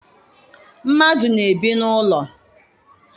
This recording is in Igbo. Mmadụ na-ebi n'ụlọ.